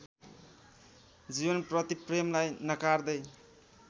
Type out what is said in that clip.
जीवनप्रति प्रेमलाई नकार्दै